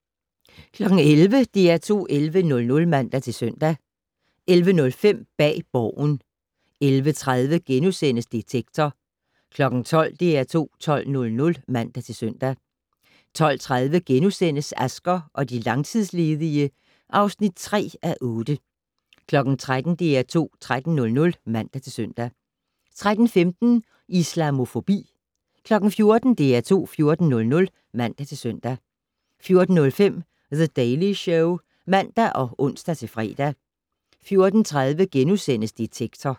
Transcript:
11:00: DR2 11:00 (man-søn) 11:05: Bag Borgen 11:30: Detektor * 12:00: DR2 12:00 (man-søn) 12:30: Asger og de langtidsledige (3:8)* 13:00: DR2 13:00 (man-søn) 13:15: Islamofobi 14:00: DR2 14:00 (man-søn) 14:05: The Daily Show (man og ons-fre) 14:30: Detektor *